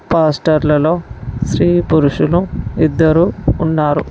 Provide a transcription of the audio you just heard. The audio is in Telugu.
పాస్టర్లలో స్త్రీ పురుషులు ఇద్దరు ఉన్నారు.